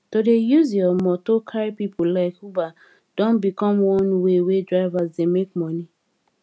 to dey use your moto carry pipo like uber don become one way wey drivers dey make money